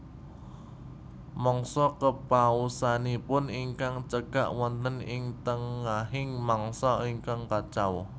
Mangsa kepausanipun ingkang cekak wonten ing tengahing mangsa ingkang kacau